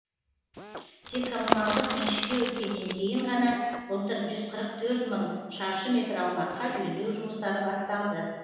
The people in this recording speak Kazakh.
тек коммуналдық меншікке өткеннен кейін ғана былтыр жүз қырық төрт мың шаршы метр аумаққа жөндеу жұмыстары басталды